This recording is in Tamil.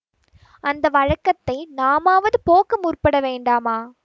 அந்த வழக்கத்தை நாமாவது போக்க முற்பட வேண்டாமா